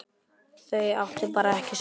Þau áttu bara ekki saman.